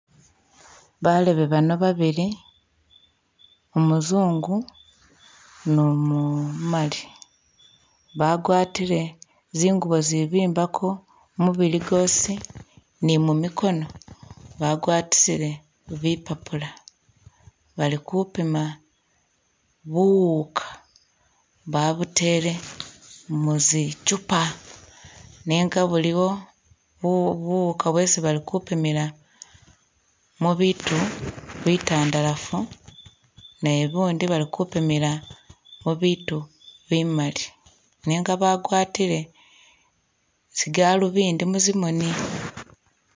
Balebe bano babili, umuzungu ni umumali bagwatile zingubo zibimbako mubili gwosi ni mu mikono bagwatisile bipapula bali kupima buwuuka babutele isi i'chupa nenga buliwo bu buwuuka bwesi bali kupimilamo mu bitu bitandalafu ne bundi bali kupimila mu bitu bimali nenga bagwatile zigalubindi mu zimoni.